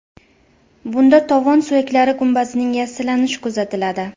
Bunda tovon suyaklari gumbazining yassilanishi kuzatiladi.